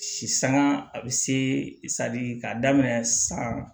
Si sanga a bɛ se k'a daminɛ san